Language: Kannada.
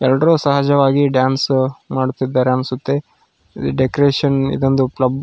ಎಲ್ಲರು ಸಹಜವಾಗಿ ಡ್ಯಾನ್ಸ್ ಮಾಡುತ್ತಿದ್ದಾರೆ ಅನ್ಸುತ್ತೆ ಡೆಕೋರೇಷನ್ ಇದೊಂದು ಕ್ಲಬ್ --